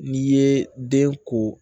N'i ye den ko